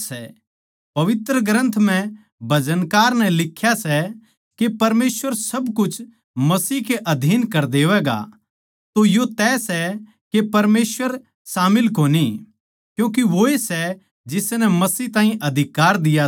पवित्र ग्रन्थ म्ह भजनकार नै लिख्या सै के परमेसवर सब कुछ मसीह के अधीन कर देवैगा तो यो तय सै के परमेसवर शामिल कोनी क्यूँके वोए सै जिसनै मसीह ताहीं अधिकार दिया सै